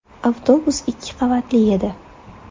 Avtobus ikki qavatli edi.